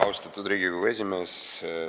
Austatud Riigikogu esimees!